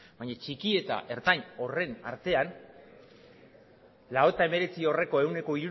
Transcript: baina txiki eta ertain horien artean laurogeita hemeretzi horreko ehuneko